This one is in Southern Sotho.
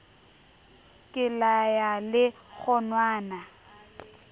ke la ya le kgonwana